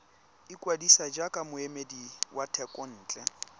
ikwadisa jaaka moemedi wa thekontle